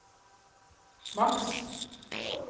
maks